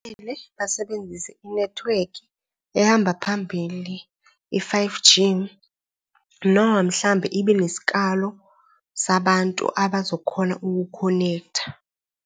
basebenzise inethiwekhi ehamba phambili, i-five G noma mhlambe ibe nesikalo sabantu abazokhona uku-connect-a.